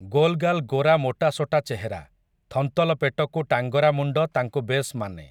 ଗୋଲ୍‌ଗାଲ୍ ଗୋରା ମୋଟାସୋଟା ଚେହେରା, ଥନ୍ତଲ ପେଟକୁ ଟାଙ୍ଗରାମୁଣ୍ଡ ତାଙ୍କୁ ବେଶ୍ ମାନେ ।